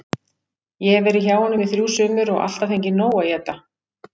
Ég hef verið hjá honum í þrjú sumur og alltaf fengið nóg að éta.